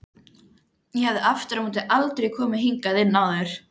Ég hafði aftur á móti aldrei komið hingað inn áður.